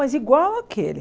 Mas igual àquele.